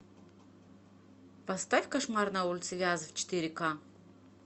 поставь кошмар на улице вязов четыре ка